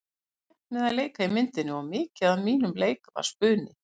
Ég fór létt með að leika í myndinni og mikið af mínum leik var spuni.